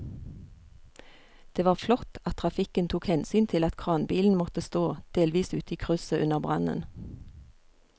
Det var flott at trafikken tok hensyn til at kranbilen måtte stå delvis ute i krysset under brannen.